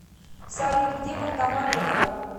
салют где банкомат рядом